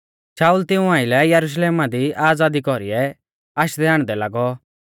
शाऊल तिऊं आइलै यरुशलेमा दी आज़ादी कौरीऐ आशदैहाण्डदै लागौ